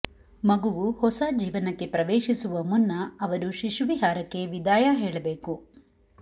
ಮಗುವು ಹೊಸ ಜೀವನಕ್ಕೆ ಪ್ರವೇಶಿಸುವ ಮುನ್ನ ಅವರು ಶಿಶುವಿಹಾರಕ್ಕೆ ವಿದಾಯ ಹೇಳಬೇಕು